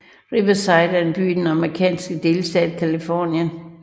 Riverside er en by i den amerikanske delstat Californien